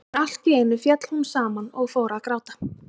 En allt í einu féll hún saman og fór að gráta.